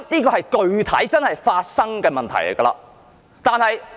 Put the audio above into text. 這些也是真實發生的問題。